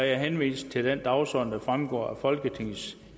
jeg henviser til den dagsorden der fremgår af folketingets